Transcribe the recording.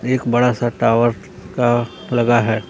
एक बड़ा सा टावर का लगा है।